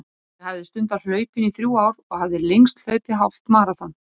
Ég hafði stundað hlaupin í þrjú ár og hafði lengst hlaupið hálft maraþon.